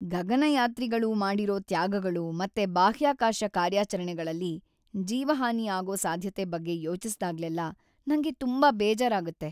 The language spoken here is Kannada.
ಗಗನಯಾತ್ರಿಗಳು ಮಾಡಿರೋ ತ್ಯಾಗಗಳು ಮತ್ತೆ ಬಾಹ್ಯಾಕಾಶ ಕಾರ್ಯಾಚರಣೆಗಳಲ್ಲಿ ಜೀವಹಾನಿ ಆಗೋ ಸಾಧ್ಯತೆ ಬಗ್ಗೆ ಯೋಚಿಸ್ದಾಗ್ಲೆಲ್ಲ ನಂಗೆ ತುಂಬಾ ಬೇಜಾರಾಗತ್ತೆ.